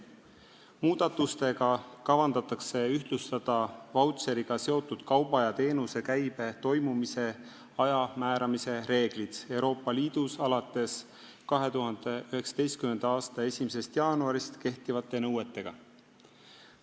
Muudatustega kavandatakse ühtlustada vautšeriga seotud kauba ja teenuse käibe toimumise aja määramise reeglid Euroopa Liidus alates 2019. aasta 1. jaanuarist kehtivate nõuetega.